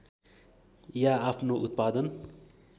या आफ्नो उत्पादन